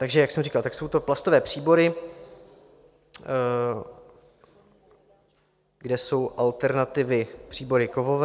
Takže jak jsem říkal, jsou to plastové příbory, kde jsou alternativou příbory kovové.